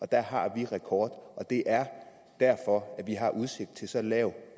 der har vi en rekord og det er derfor at vi har udsigt til så lav